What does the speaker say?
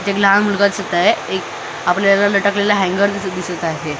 इथे एक लहान मुलगा दिसत आहे एक आपल्याला लटकलेलं हँगर दिसत आहे .